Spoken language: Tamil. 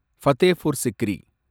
பதேபூர் சிக்ரி